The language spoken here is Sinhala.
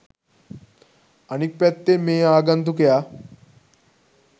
අනික් පැත්තෙන් මේ ආගන්තුකයා